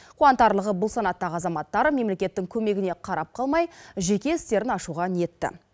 қуантарлығы бұл санаттағы азаматтар мемлекеттің көмегіне қарап қалмай жеке істерін ашуға ниетті